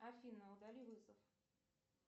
афина удали вызов